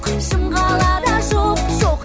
шым қалада жоқ жоқ